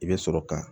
I bɛ sɔrɔ ka